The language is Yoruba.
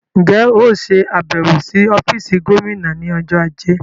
Ǹjẹ́ óò ṣe àbẹ̀wò sí ọ́fíìsì Gómìnà ní ọjọ́ ajé?